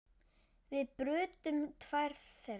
Við brutum tvær þeirra.